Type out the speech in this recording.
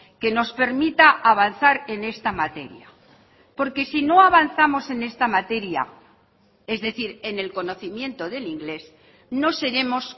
que nos permita avanzar en esta materia porque si no avanzamos en esta materia es decir en el conocimiento del inglés no seremos